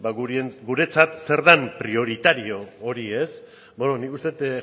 ba guretzat zer den prioritario hori beno nik uste dut